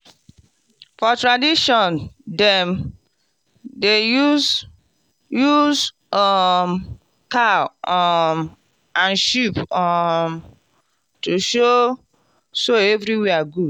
for tradition dem dey use use um cow um and sheep um to show so everywhere good.